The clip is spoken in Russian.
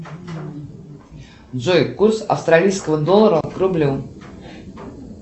джой курс австралийского доллара к рублю